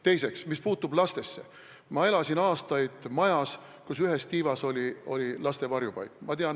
Teiseks, mis puutub lastesse, siis ma elasin aastaid majas, mille ühes tiivas oli laste varjupaik.